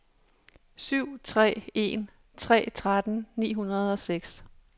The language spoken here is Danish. syv tre en tre tretten ni hundrede og seks